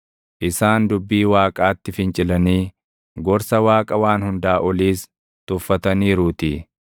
isaan dubbii Waaqaatti fincilanii gorsa Waaqa Waan Hundaa Oliis tuffataniiruutii.